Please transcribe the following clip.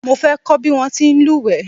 Mo fẹ́ kọ́ bí wọ́n ti ń lúwẹ̀ẹ́